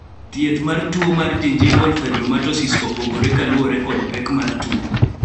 thieth mar tuo mar gingival fibromatosis opogore kaluwore kod pek mar tuo